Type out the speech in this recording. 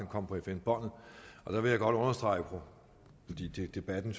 kommer på fm båndet der vil jeg godt understrege fordi debatten